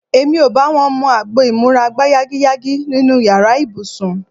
Èmi ò bá wọn mu agbo ìmúra-gbáyágiyágí nínú yàrá ibùsùn.